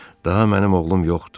Daha mənim oğlum yoxdur.